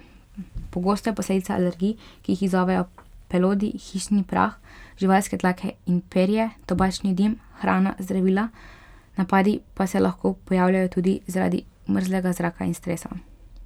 Pogosto je posledica alergij, ki jo izzovejo pelodi, hišni prah, živalske dlake in perje, tobačni dim, hrana, zdravila, napadi pa se lahko pojavijo tudi zaradi mrzlega zraka in stresa.